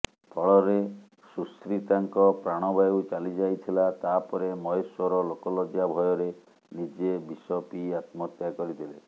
ଫଳରେ ସୁଶ୍ରୀତାଙ୍କ ପ୍ରାଣବାୟୁ ଚାଲିଯାଇଥିଲା ତାପରେ ମହେଶ୍ବର ଲୋକଲଜ୍ୟା ଭୟରେ ନିଜେ ବିସପିଇ ଆତ୍ମହତ୍ୟା କରିଥିଲେ